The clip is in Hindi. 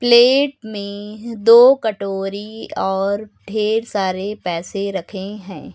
प्लेट में दो कटोरी और ढेर सारे पैसे रखे हैं।